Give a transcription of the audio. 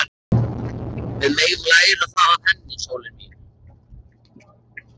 Við megum læra það af henni, sólin mín.